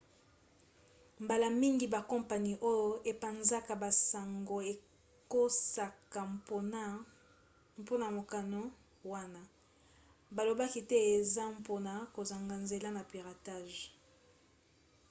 mbala mingi bakompani oyo epanzaka basango ekosaka mpona mokano wana balobaki te eza mpona kozanga nzela na piratage